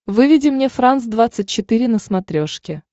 выведи мне франс двадцать четыре на смотрешке